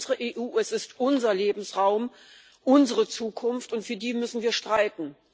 Es ist unsere EU, es ist unser Lebensraum, unsere Zukunft, und für die müssen wir streiten.